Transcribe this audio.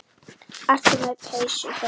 Ertu með byssu hjá þér?